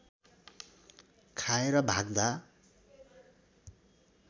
खाएर भाग्दा